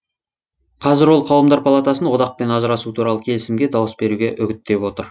қазір ол қауымдар палатасын одақпен ажырасу туралы келісімге дауыс беруге үгіттеп отыр